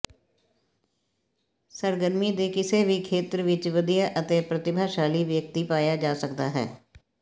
ਸਰਗਰਮੀ ਦੇ ਕਿਸੇ ਵੀ ਖੇਤਰ ਵਿੱਚ ਵਧੀਆ ਅਤੇ ਪ੍ਰਤਿਭਾਸ਼ਾਲੀ ਵਿਅਕਤੀ ਪਾਇਆ ਜਾ ਸਕਦਾ ਹੈ